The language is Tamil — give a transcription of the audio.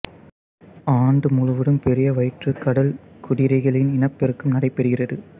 ஆண்டு முழுவதும் பெரிய வயிற்றுக் கடல் குதிரைகளில் இனப்பெருக்கம் நடைபெறுகிறது